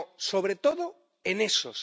Sobre todo, en esos